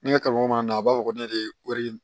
Ne ka kalan mana na a b'a fɔ ne de kori